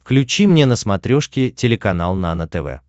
включи мне на смотрешке телеканал нано тв